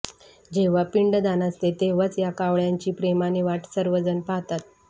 जेंव्हा पिंडदान असते तेंव्हाच या कावळ्यांची प्रेमाने वाट सर्व जण पाहतात